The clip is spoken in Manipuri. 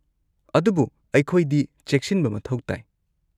ꯑꯗꯨꯕꯨ ꯑꯩꯈꯣꯏꯗꯤ ꯆꯦꯛꯁꯤꯟꯕ ꯃꯊꯧ ꯇꯥꯏ꯫